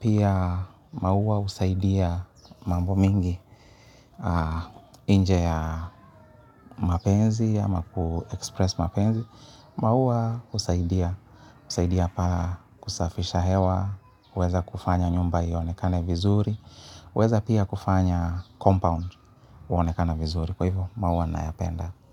Pia maua husaidia mambo mingi nje ya mapenzi ama kuexpress mapenzi. Maua husaidia, husaidia pa kusafisha hewa, huweza kufanya nyumba ionekane vizuri, huweza pia kufanya compound kuonekana vizuri. Kwa hivyo, maua nayapenda.